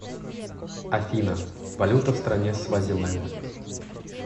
афина валюта в стране свазиленд